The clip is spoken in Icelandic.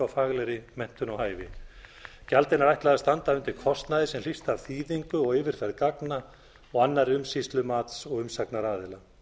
faglegri menntun og hæfi gjaldinu er ætlað að standa undir kostnaði sem hlýst af þýðingu og yfirferð gagna og annarri umsýslu mats og umsagnaraðila